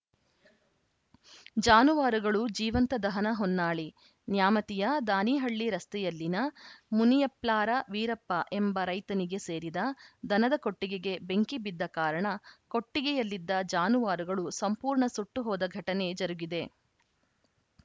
ಜಾನುವಾರುಗಳು ಜೀವಂತ ದಹನ ಹೊನ್ನಾಳಿ ನ್ಯಾಮತಿಯ ದಾನಿಹಳ್ಳಿ ರಸ್ತೆಯಲ್ಲಿನ ಮುನಿಯಪ್ಲಾರ ವೀರಪ್ಪ ಎಂಬ ರೈತನಿಗೆ ಸೇರಿದ ದನದ ಕೊಟ್ಟಿಗೆಗೆ ಬೆಂಕಿಬಿದ್ದ ಕಾರಣ ಕೊಟ್ಟಿಗೆಯಲ್ಲಿದ್ದ ಜಾನುವಾರುಗಳು ಸಂಪೂರ್ಣ ಸುಟ್ಟುಹೋದ ಘಟನೆ ಜರುಗಿದೆ